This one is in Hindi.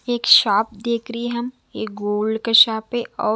एक शॉप देख रही है हम एक गोल्ड का शॉप